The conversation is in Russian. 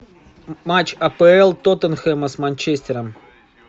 матч апл тоттенхэма с манчестером